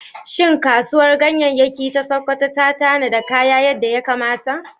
Shin Kasuwar Ganyayyaki ta Sakkwato ta tanadi kayan yadda ya kamata?